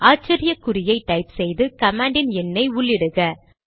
ஆச்சரிய குறியை டைப் செய்து கமாண்டின் எண்ணை உள்ளிடுக